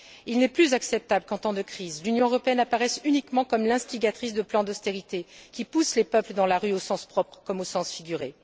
Il n'est plus acceptable qu'en temps de crise, l'Union européenne apparaisse uniquement comme l'instigatrice de plans d'austérité qui poussent les peuples dans la rue au sens propre comme au sens figuré.